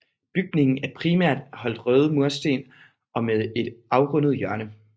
Bygningen er primært holdt røde mursten og med et afrundet hjørne